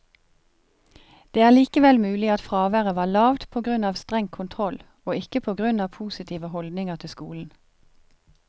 Det er likevel mulig at fraværet var lavt på grunn av streng kontroll, og ikke på grunn av positive holdninger til skolen.